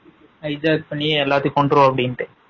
Hijack பண்ணி எல்லாரையும் கொண்டுறனும் அப்டின்ட்டு